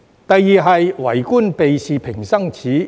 第二，是"為官避事平生耻"。